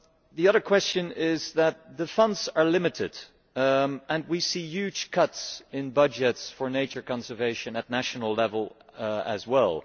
The other question is that the funds are limited and we see huge cuts in budgets for nature conservation at national level as well.